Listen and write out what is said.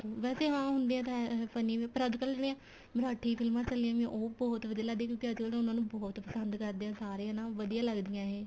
ਵੈਸੇ ਹਾਂ ਹੁੰਦੇ ਤਾਂ ਹੈ funny ਵੀ ਪਰ ਅੱਜਕਲ ਜਿਹੜੀਆਂ ਮਰਾਠੀ ਫ਼ਿਲਮਾ ਚੱਲੀਆਂ ਪਈਆਂ ਉਹ ਬਹੁਤ ਵਧੀਆ ਲੱਗਦੀਆਂ ਕਿਉਂਕਿ ਅੱਜਕਲ ਉਹਨਾ ਨੂੰ ਬਹੁਤ ਪਸੰਦ ਕਰਦੇ ਏ ਸਾਰੇ ਹਨਾ ਵਧੀਆ ਲੱਗਦੀਆਂ ਇਹ